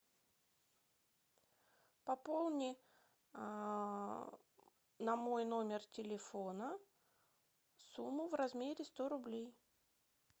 пополни на мой номер телефона сумму в размере сто рублей